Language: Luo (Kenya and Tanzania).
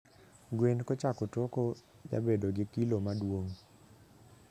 gwen kochako toko jabedo gi kilo maduong